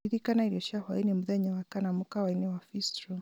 ririkana irio cia hwainĩ mũthenya wa kana mũkawa-inĩ wa bistro